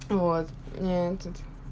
вот ни этот